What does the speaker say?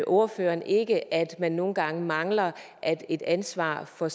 ordføreren ikke at man nogle gange mangler at et ansvar for